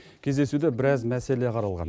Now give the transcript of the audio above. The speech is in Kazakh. кездесуде біраз мәселе қаралған